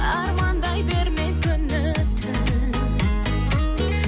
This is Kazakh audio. армандай берме күні түн